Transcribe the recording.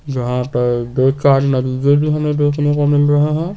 जहां पर दो चार मरीजे भी हमें देखने को मिल रहे है।